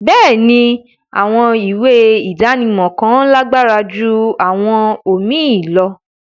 Béèni, àwọn ìwé idánimọ̀ kan làgbára jù àwọn omíì lọ